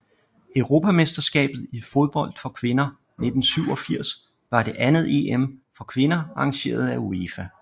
Europamesterskabet i fodbold for kvinder 1987 var det andet EM for kvinder arrangeret af UEFA